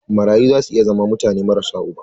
Marayu za su iya zama mutane marasa uba.